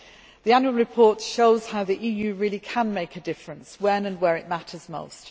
The annual report shows how the EU really can make a difference when and where it matters most.